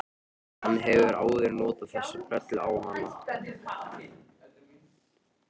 Hann hefur áður notað þessa brellu á hana.